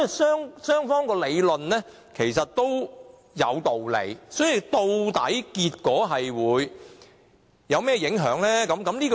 所以，兩個理論其實均有道理，究竟結果會帶來甚麼影響呢？